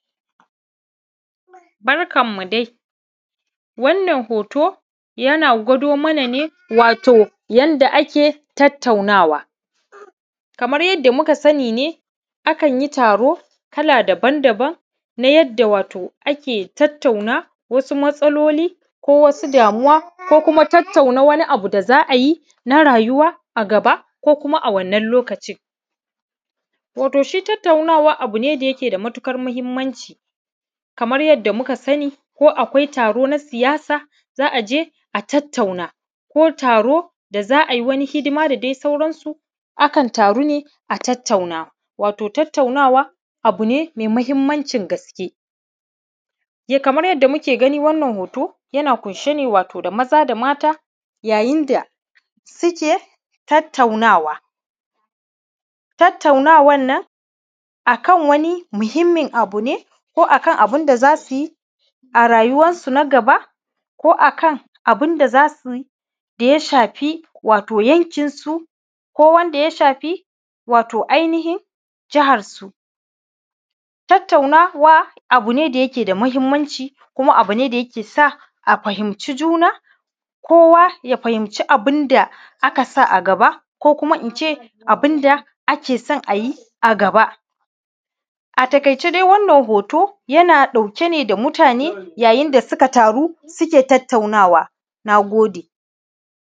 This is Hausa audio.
Barkanmu dai wannan hoto yana gwadomana ne wato yadda ake tattaunawa kama yadda muka sina ne akan yi taro kala daban-daban na yadda wato ake tauna na wasu matsaloli ko wasu damuwa ko kuma tattauna wasu abu da za a yi na rayuwa a gaba ko kuma a wannin lokacin to gashi tattaunawa abu ne da yake da matuƙar mahinimanci kama yadda muka sani ko akawa taro na siyasa za a je a tattauna ko taro da za a yi wannin hidima da dai sauransu aƙalla taro ne a tattauna to tattauna abu ne me mahinimancin gaske kama yadda muke gani wannan hoto na ƙunshe ne wato da maza da mata yayin da suke tattaunawa tattaunawan nan aƙalla wannin muhinimin abu ne ko aƙalla wani muhinimin abu ne ko aƙallawa abu ne da za su yi a rayuwansu na gaba aƙalla abu ne da za su yi wato daya shafi yankinsu ko wanda ya shafi wato ainihin jahansu tattaunawa abu ne da yake da mahinimancin ko ma abu ne da yake sawa a fahinci kowa kowa ya fahinci juna kowa fahinci abu ne da ake sawa a gaba ko kuma in ce abu ne da ake so a yi a gaba a taƙaice dai wannan hoto yana ɗauke ne da mutane yanda suka taru suke tattaunawa na gode